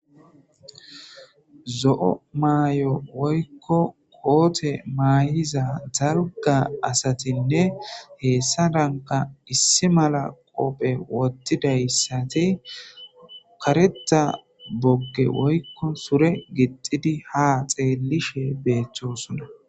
Zo'o maayo woykko koote mayiza daalgga asatinne heessadankka issi malla qoppe woththidayssati kareththa boogge woykko suure gixxidi ha xellishe bettosona.